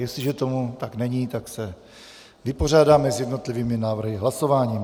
Jestliže tomu tak není, tak se vypořádáme s jednotlivými návrhy hlasováním.